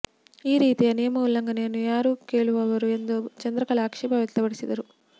ಈ ರೀತಿಯ ನಿಯಮ ಉಲ್ಲಂಘನೆಯನ್ನು ಯಾರು ಕೇಳುವವರು ಎಂದು ಚಂದ್ರಕಲಾ ಆಕ್ಷೇಪ ವ್ಯಕ್ತಪಡಿಸಿದರು